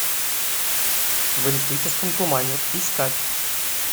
в электрическом тумане искать